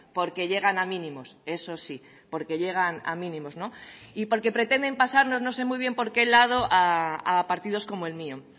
porque llegan a mínimos eso sí porque llegan a mínimos y porque pretenden pasarnos no sé muy bien por qué lado a partidos como el mío